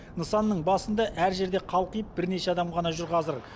нысанның басында әр жерде қалқиып бірнеше адам ғана жүр қазір